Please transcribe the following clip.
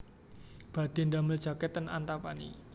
Badhe ndamel jaket ten Antapani